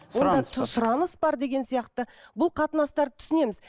сұраныс бар деген сияқты бұл қатынастарды түсінеміз